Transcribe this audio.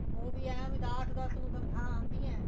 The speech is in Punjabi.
ਉਹ ਵੀ ਹੈ ਨਾ ਦਸ ਦੱਸ ਨੂੰ ਤਨਖਾਵਾਂ ਆਉਂਦੀਆਂ